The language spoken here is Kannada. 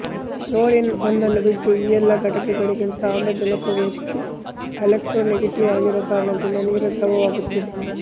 ಫ್ಲೋರೀನ್ ಒಂದನ್ನು ಬಿಟ್ಟು ಈ ಎಲ್ಲ ಘಟಕಗಳಿಗಿಂತ ಆಮ್ಲಜನಕವು ಹೆಚ್ಚು ಎಲೆಕ್ಟ್ರೋನೆಗೆಟೀವ್ ಆಗಿರುವ ಕಾರಣದಿಂದ ನೀರು ದ್ರವವಾಗುತ್ತದೆ